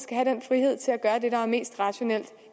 er det mest rationelle